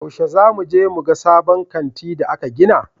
Yaushe za mu je muga sabon kanti da aka gina?